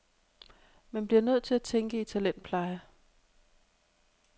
Man bliver nødt til at tænke i talentpleje.